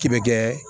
K'i bɛ kɛ